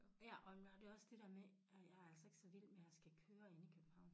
Ja og når det også det dér med at jeg er altså ikke så vild med at skal køre inde i København